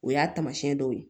O y'a taamasiyɛn dɔw ye